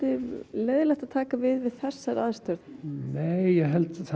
leiðinlegt að taka við við þessar aðstæður nei ég